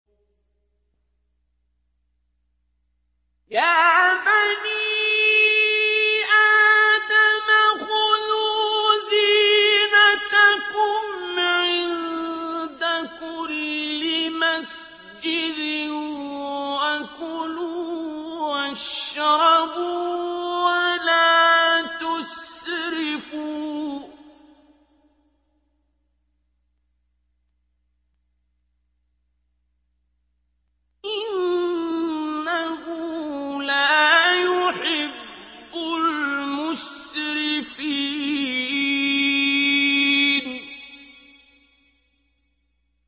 ۞ يَا بَنِي آدَمَ خُذُوا زِينَتَكُمْ عِندَ كُلِّ مَسْجِدٍ وَكُلُوا وَاشْرَبُوا وَلَا تُسْرِفُوا ۚ إِنَّهُ لَا يُحِبُّ الْمُسْرِفِينَ